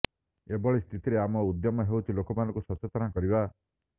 ଏଭଳି ସ୍ଥିତିରେ ଆମ ଉଦ୍ୟମ ହେଉଛି ଲୋକଙ୍କୁ ସଚେତନ କରିବା